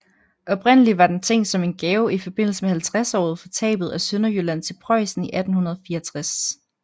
Oprindelig var den tænkt som en gave i forbindelse med 50året for tabet af Sønderjylland til Preussen i 1864